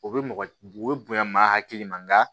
O bɛ mɔgɔ o bɛ bonya maa hakili ma